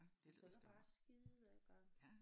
Og så er der bare skidegodt